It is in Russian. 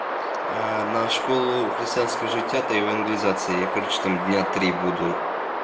на школу христиан скажите а то евангелизации я короче там дня три буду